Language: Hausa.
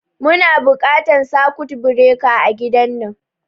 Muna buƙatan sakut bireka a gidan nan